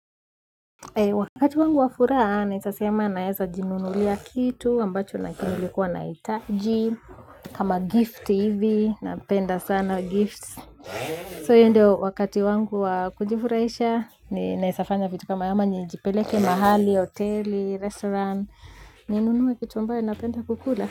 Wakati wangu wa furahaa, naeza sema naeza jinunulia kitu ambacho nilikuwa nahitaji. Kama gift hivi, napenda sana gifts So hiyo ndio wakati wangu wa kujifuraisha, ninaezafanya vitu kama hivyo njipeleke mahali, hoteli, restaurant. Ninunue kitu ambayo napenda kukula.